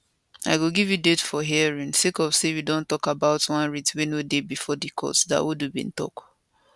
i go give you date for hearing sake of say we dey tok about one writ wey no dey bifor di court dawodu bin tok